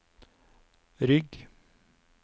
rygg